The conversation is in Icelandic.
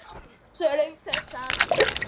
Svo er löng þögn.